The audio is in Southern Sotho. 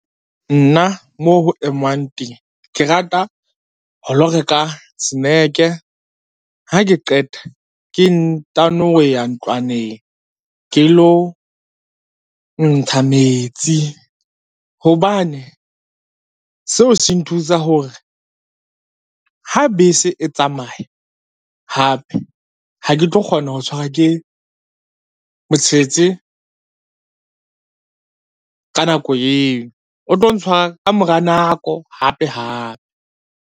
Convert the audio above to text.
Nna moo ho emwang teng, ke rata ho lo reka snack-e, ha ke qeta ke ntano ho ya ntlwaneng ke lo ntsha metsi, hobane seo se nthusa hore ha bese e tsamaya hape ha ke tlo kgona ho tshwarwa ke motshetse ka nako eo, o tlo ntshwa ka mora nako hape-hape.